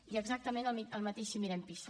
i exactament el mateix si mirem pisa